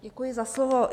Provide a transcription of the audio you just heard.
Děkuji za slovo.